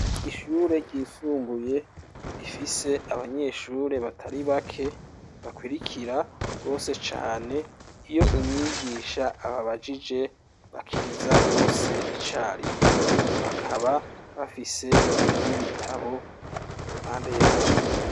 Ishure ryisumbuye rifise abanyeshure batari bake bakurikira gose cane, iyo umwigisha ababajije bakiriza bose icarimwe, bakaba bafise n'ibitabo impande yabo.